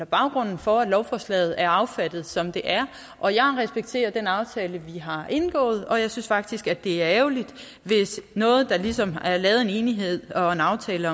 baggrunden for at lovforslaget er affattet som det er og jeg respekterer den aftale vi har indgået og jeg synes faktisk at det er ærgerligt hvis noget der ligesom er lavet en enighed og en aftale